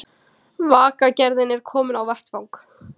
Vegagerðin er komin á vettvang